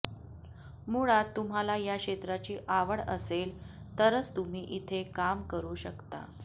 मुळात तुम्हाला या क्षेत्राची आवड असेल तरच तुम्ही इथे काम करू शकता